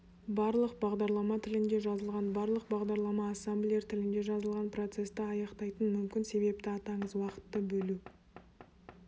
барлық бағдарлама тілінде жазылған барлық бағдарлама ассемблер тілінде жазылған процесті аяқтайтын мүмкін себепті атаңыз уақытты бөлу